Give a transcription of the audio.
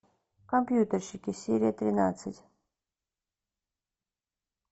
компьютерщики серия тринадцать